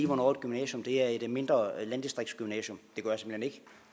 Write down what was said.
hvornår et gymnasium er et mindre landdistriktsgymnasium